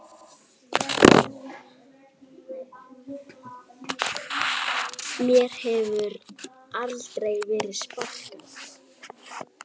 Mér hefur aldrei verið sparkað